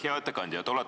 Hea ettekandja!